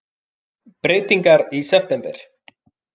Breytingar í september